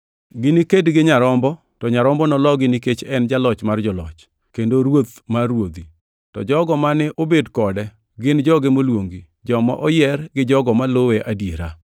Giniked gi Nyarombo, to Nyarombo nologi nikech en e Jaloch mar joloch, kendo Ruoth mar ruodhi, to jogo mane obed kode, gin joge moluongi, joma oyier gi jogo maluwe gadiera.”